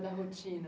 da rotina.